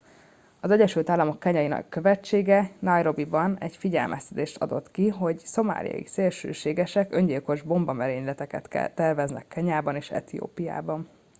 "az egyesült államok kenyai követsége nairobiban egy figyelmeztetést adott ki hogy "szomáliai szélsőségesek" öngyilkos bombamerényleteket terveznek kenyában és etiópiában.